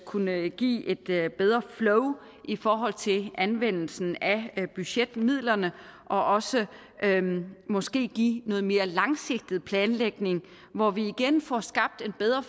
kunne give et bedre flow i forhold til anvendelsen af budgetmidlerne og også måske give noget mere langsigtet planlægning hvor vi igen får skabt en bedre